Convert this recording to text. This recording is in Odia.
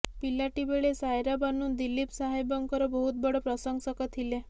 ପିଲାଟି ବେଳେ ସାୟାରା ବାନୁ ଦିଲିପ୍ ସାହେବଙ୍କର ବହୁତ ବଡ଼ ପ୍ରଶଂସକ ଥିଲେ